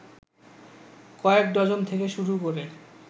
কয়েক ডজন থেকে শুরু করে